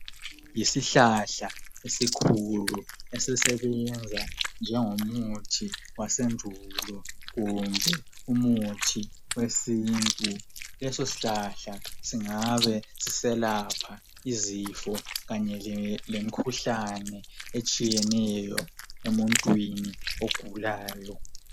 Yisihlahla esikhulu esisebenza njengomuthi wasendulo, kumbe umuthi wesintu. Leso shlahla singabe siselapha izifo kanye lemkhuhlane etshiyeneyo emuntwini ogulayo.